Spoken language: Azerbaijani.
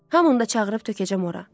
Hamını da çağırıb tökəcəm ora.